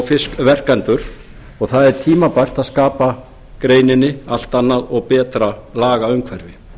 fiskverkendur og það er tímabært að skapa greininni allt annað og betra lagaumhverfi